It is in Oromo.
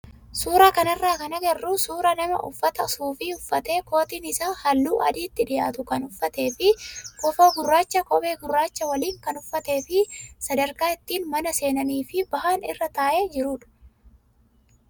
Suuraa kanarraa kan agarru suuraa nama uffata suufii uffatee kootiin isaa halluu adiitti dhiyaatu kan uffatee fi kofoo gurraacha kophee gurraacha waliin kan uffatee fi sadarkaa ittiin mana seenanii fi bahan irra taa'ee jirudha.